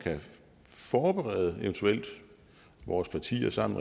eventuelt vores partier sammen